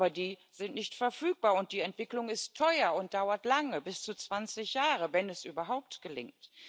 Aber die sind nicht verfügbar, und die Entwicklung ist teuer und dauert lange bis zu zwanzig Jahre, wenn es überhaupt gelingt.